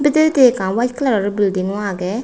bidiredi ekkan white colour o building o age.